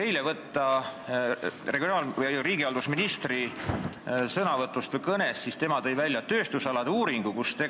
Eile vastas meile siin riigihalduse minister, kes viitas tööstusalade arengu uuringule.